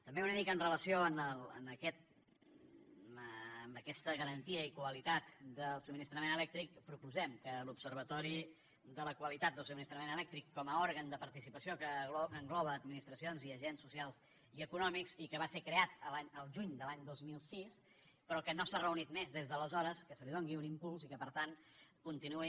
també una mica amb relació a aquesta garantia i qualitat del subministrament elèctric proposem que l’observatori de la qualitat del subministrament elèctric com a òrgan de participació que engloba administracions i agents socials i econòmics i que va ser creat el juny de l’any dos mil sis però que no s’ha reunit més des d’aleshores que se li doni un impuls i que per tant continuï